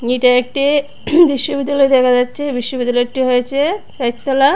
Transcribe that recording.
এটা একটি বিশ্ববিদ্যালয় দেখা যাচ্ছে বিশ্ববিদ্যালয়টি হয়েছে চাইর তলা।